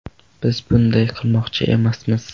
Biz bunday qilmoqchi emasmiz.